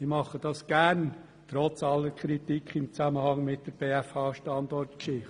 Ich tue das gern, trotz aller Kritik im Zusammenhang mit der BFH-Standortgeschichte.